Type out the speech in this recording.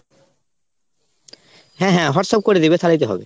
হ্যাঁ হ্যাঁ Whatsapp করে দিবে তালেই তো হবে।